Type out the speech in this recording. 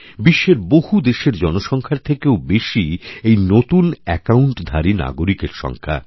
বিশ্বের বহু দেশের জনসংখ্যার থেকেও বেশি এইনতুন অ্যাকাউণ্টধারী নাগরিকের সংখ্যা